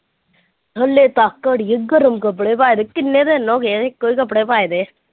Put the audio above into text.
ਹਾਲੇ ਤੱਕ ਅੜੀਏ ਗਰਮ ਕੱਪੜੇ ਪਾਏਦੇ ਕਿੰਨੇ ਦਿਨ ਹੋ ਗਏ ਇੱਕੋ ਹੀ ਕੱਪੜੇ ਪਾਏਦੇ।